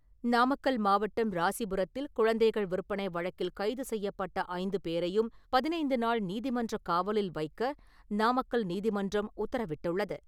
நாமக்கல் மாவட்டம் ராசிபுரத்தில் குழந்தைகள் விற்பனை வழக்கில் கைது செய்யப்பட்ட ஐந்து பேரையும் பதினைந்துநாள் நீதிமன்றக் காவலில் வைக்க நாமக்கல் நீதிமன்றம் உத்தரவிட்டுள்ளது.